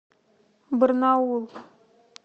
барнаул